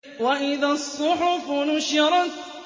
وَإِذَا الصُّحُفُ نُشِرَتْ